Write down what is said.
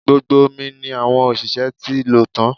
Gbogbo omi ni àwọn òṣìṣẹ́ ti lò tan